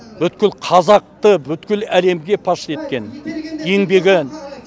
бүткіл қазақты бүткіл әлемге паш еткен еңбегі